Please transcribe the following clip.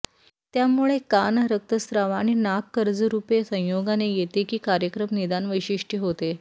त्यामुळे कान रक्तस्त्राव आणि नाक कर्ज रूपे संयोगाने येते की कार्यक्रम निदान वैशिष्ट्य होते